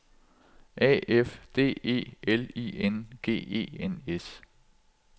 A F D E L I N G E N S